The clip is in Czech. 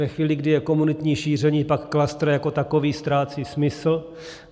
Ve chvíli, kdy je komunitní šíření, pak klastr jako takový ztrácí smysl.